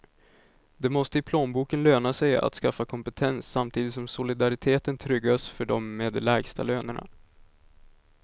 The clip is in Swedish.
Det måste i plånboken löna sig att skaffa kompetens, samtidigt som solidariteten tryggas för dem med de lägsta lönerna.